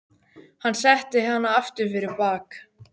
Hann setti hana aftur fyrir bak.